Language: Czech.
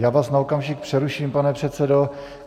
Já vás na okamžik přeruším, pane předsedo.